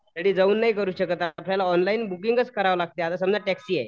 घरी जाऊन नाही करू शकत आपल्याला ऑनलाईन बुकिंगचं करावे लागते समजा टेक्सी आहे.